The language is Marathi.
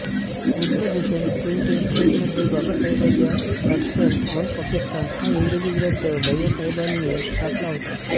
बुद्धभूषण प्रिंटिंग प्रेसमध्ये बाबासाहेबांचा थॉट्स ऑन पाकिस्तान हा इंग्रजी ग्रंथ भैय्यासाहेबांनी छापला होता